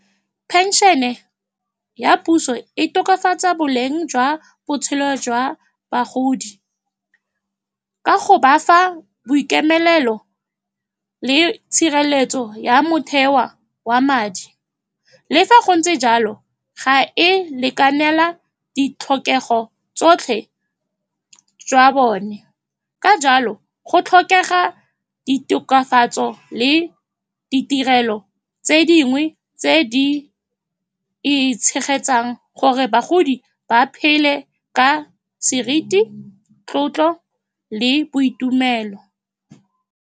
Pension-ne ya puso e tokafatsa boleng jwa botshelo jwa bagodi ka go ba fa boikemelo le tshireletso ya motheo wa madi. Le fa go ntse jalo, ga e a lekanela ditlhokego tsotlhe tsa bone. Ka jalo, go tlhokega ditokafatso le ditirelo tse dingwe tse di itshegetsang, gore bagodi ba phele ka seriti, tlotlo le boitumelo.